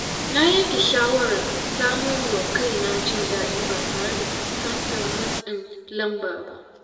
Na yanke shawarar samarwa kaina jin daɗi ba tare da fuskantar matsin lamba ba.